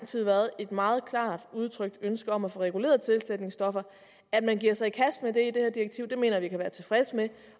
tid været et meget klart udtrykt ønske om at få reguleret tilsætningsstofferne at man giver sig i kast med det i det her direktiv mener jeg vi kan være tilfredse med